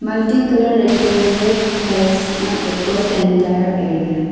multicolour rectangular flags across the entire area.